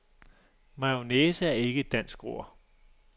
Majonnaise er ikke et dansk ord.